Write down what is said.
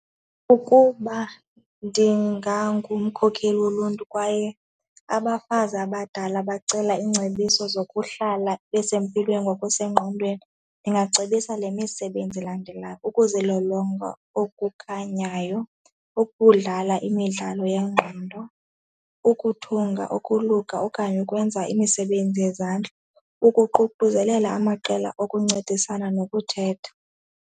Ukuba ndingangumkhokheli woluntu kwaye abafazi abadala bacela iingcebiso zokuhlala besempilweni ngokwasengqondweni ndingacebisa le misebenzi ilandelayo, ukuzilolonga okukhanyayo, ukudlala imidlalo yengqondo, ukuthunga ukoluka okanye ukwenza imisebenzi yezandla, ukuququzelela amaqela okuncedisana nokuthetha.